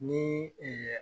Ni